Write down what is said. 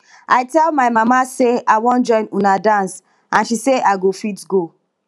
i tell my mama say i wan join una dance and she say i go fit go